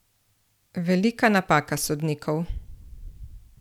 Velika napaka sodnikov!